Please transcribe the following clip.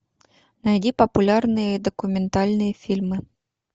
найди популярные документальные фильмы